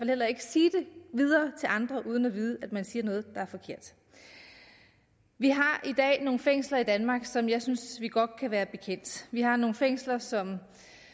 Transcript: heller ikke sige det videre til andre uden at vide at man så siger noget der er forkert vi har i dag nogle fængsler i danmark som jeg synes vi godt kan være bekendt vi har nogle fængsler som